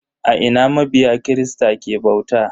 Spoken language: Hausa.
A ina mabiya kirista ke bauta?